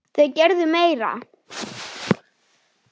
Þau gerðu meira.